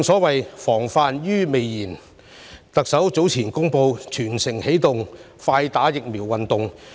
為了"防患於未然"，特首早前展開"全城起動快打疫苗"運動。